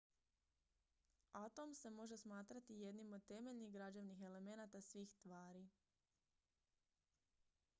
atom se može smatrati jednim od temeljnih građevnih elemenata svih tvari